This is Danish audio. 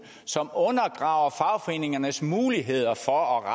som undergraver fagforeningernes muligheder for at